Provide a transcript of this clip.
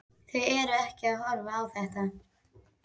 Þau eru ekkert að horfa á þetta?